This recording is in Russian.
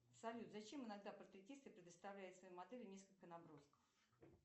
салют зачем иногда портретисты предоставляют своим моделям несколько набросков